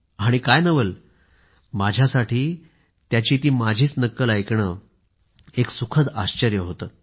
आणि काय नवल माझ्यासाठी त्याची नक्कल ऐकणं एक सुखद आश्चर्य होतं